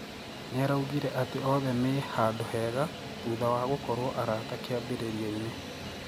Niaraûgĩre atĩ oothe mĩĩ handũ hega , thutha wa gũkũruo arata kĩambirirĩaine